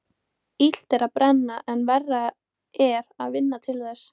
Illt er að brenna en verra er að vinna til þess.